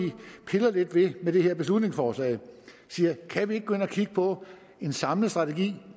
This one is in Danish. piller lidt ved med det her beslutningsforslag vi siger kan vi ikke gå ind og kigge på en samlet strategi